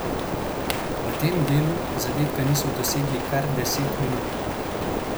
V tem delu zadetka niso dosegli kar deset minut.